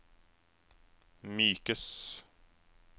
mykes